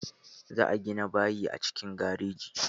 Za a gina bayi a cikin garejin.